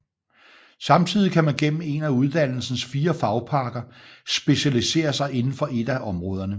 Samtidig kan man gennem en af uddannelsens fire fagpakker specialisere sig inden for et af områderne